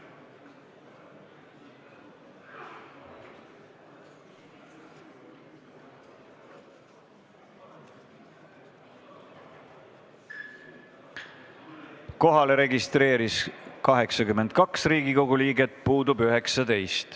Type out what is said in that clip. Kohaloleku kontroll Kohalolijaks registreeris end 82 Riigikogu liiget, puudub 19.